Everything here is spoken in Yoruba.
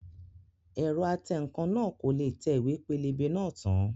Ẹ̀rọ atẹǹkan náà kò le tẹ ìwé pélébé náà tán